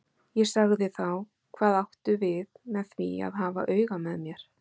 Ég sagði þá: Hvað áttu við með því að hafa auga með mér?